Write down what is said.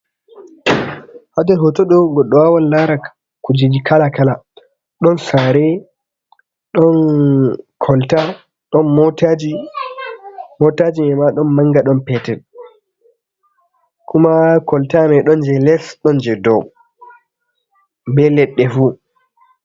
Haɗer hotodo goddo wawan lara kujiji kala kala. Ɗon sare, ɗon kolta, Ɗon motaji mei ma ɗon manga ɗon petel kuma. Kolta mai ɗon je les, ɗon je dow be ledde fu.